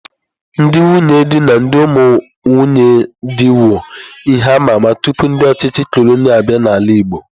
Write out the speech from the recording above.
Ndị nwunye di na ndị ụmụ nwunye dị wu ihe amama tupu ndị ọchịchị cọlọnịa abịa n'ala igbo.